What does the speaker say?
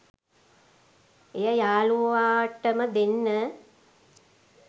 එය යාළුවාටම දෙන්න